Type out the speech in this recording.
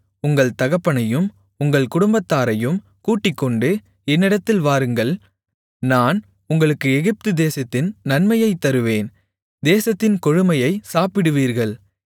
உங்கள் தகப்பனையும் உங்கள் குடும்பத்தாரையும் கூட்டிக்கொண்டு என்னிடத்தில் வாருங்கள் நான் உங்களுக்கு எகிப்துதேசத்தின் நன்மையைத் தருவேன் தேசத்தின் கொழுமையைச் சாப்பிடுவீர்கள்